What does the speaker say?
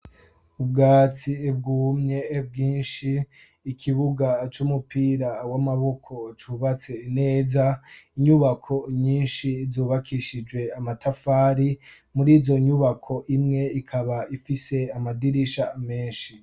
ubwatsi ibwumye bwinshi ikibuga cy'umupira w'amaboko cubatse neza inyubako nyinshi zubakishije amatafari muri izo nyubako imwe ikaba ifise amadirisha menshi